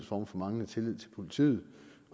form for manglende tillid til politiet